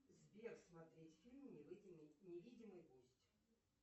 сбер смотреть фильм невидимый гость